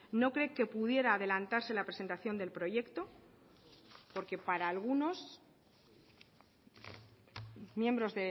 no cree que pudiera adelantarse la presentación del proyecto porque para algunos miembros